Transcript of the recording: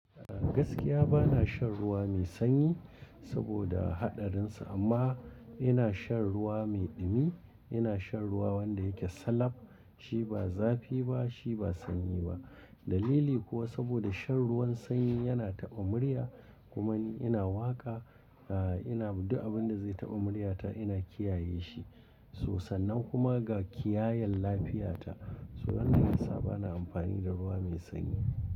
Gaskiya bana shan ruwa mai sanyi saboda haɗarinsa amma ina shan ruwa mai ɗumi, ina shan ruwa wanda yake salab. Shi ba zafi ba, shi ba sanyi ba. Dalili kuwa saboda shan ruwan sanyi yana taɓa murya kuma ni ina waƙa, eh ina duk abin da zai taɓa muryata ina kiyaye shi. Toh sannan kuma ga kiyayan lafiyata. So wannan yasa bana amfani da ruwa mai sanyi.